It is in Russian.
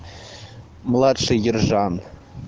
младший ержан